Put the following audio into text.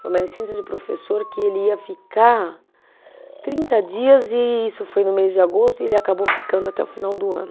Foi uma licença de professor que ele ia ficar trinta dias e isso foi no mês de agosto e ele acabou ficando até o final do ano.